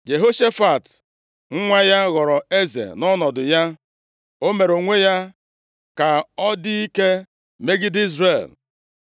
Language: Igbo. Jehoshafat nwa ya ghọrọ eze nʼọnọdụ ya, o mere onwe ya ka ọ dị ike imegide Izrel.